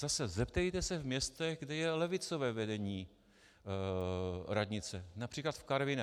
Zase - zeptejte se v městech, kde je levicové vedení radnice, například v Karviné.